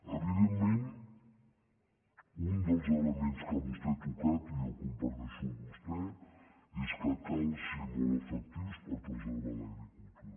evidentment un dels elements que vostè ha tocat i jo comparteixo amb vostè és que cal ser molt efec·tius per preservar l’agricultura